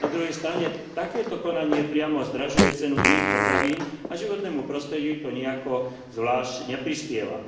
Na druhej strane takéto konanie priamo zdražuje cenu iných potravín a životnému prostrediu to nijako zvlášť neprispieva.